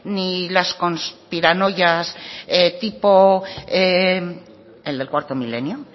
ni las conspiranoias tipo el de cuarto milenio